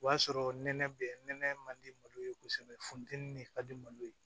O y'a sɔrɔ nɛnɛ bɛ nɛnɛ man di malo ye kosɛbɛ funtɛni de ka di malo ye